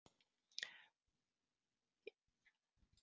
Ég þarf að þegja og láta verkin tala á velinum.